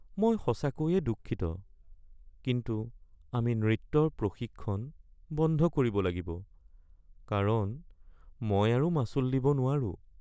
মই সঁচাকৈয়ে দুঃখিত কিন্তু আমি নৃত্যৰ প্ৰশিক্ষণ বন্ধ কৰিব লাগিব কাৰণ মই আৰু মাচুল দিব নোৱাৰোঁ